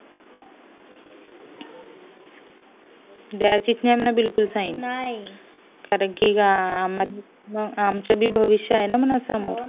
द्याची च नाय म्हणावं बिकूल sign कारण कि आमचं भी भविष्य आहे ना म्हणावं समोर